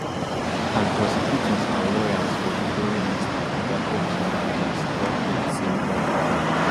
and prosecutors and lawyers for di growing list of oga combs accusers drop hint say more dey come